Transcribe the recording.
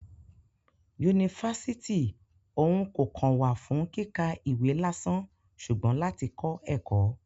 Yunifasiti òun kò kàn wá fún kíkà ìwé lásán ṣugbọn lati kọ ẹkọ.